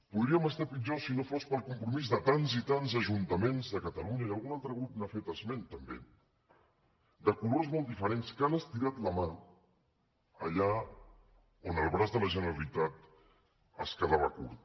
podríem estar pitjor si no fos pel compromís de tants i tants ajuntaments de catalunya i algun altre grup n’ha fet esment també de colors molt diferents que han estirat la mà allà on el braç de la generalitat quedava curt